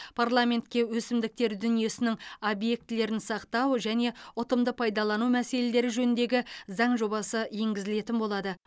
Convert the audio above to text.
парламентке өсімдіктер дүниесінің объектілерін сақтау және ұтымды пайдалану мәселелері жөніндегі заң жобасы енгізілетін болады